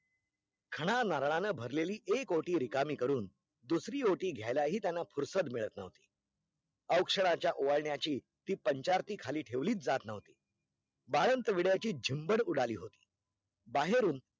खणा नारळाने भरलेली एक ओटि रिकामी करून दूसरी ओटी घ्यायला ही त्यांना फुरसत मिळत नव्हती अव्क्ष्णाच्या ओवाळण्याची ती पंचारती खाली ठेवलीच जात नव्हती बाळंत विड्याची झुंबर उडाली होती बाहेरून